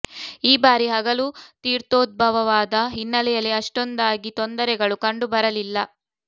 ಈ ಬಾರಿ ಹಗಲು ತೀರ್ಥೋದ್ಭವವಾದ ಹಿನ್ನೆಲೆಯಲ್ಲಿ ಅಷ್ಟೊಂದಾಗಿ ತೊಂದರೆಗಳು ಕಂಡು ಬರಲಿಲ್ಲ